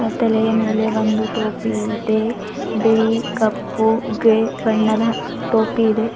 ತಲೆಯ ಮೇಲೆ ಒಂದು ಟೋಪಿ ಇದೆ ಬಿಳಿ ಕಪ್ಪು ಗ್ರೇ ಬಣ್ಣದ ಟೋಪಿ ಇದೆ.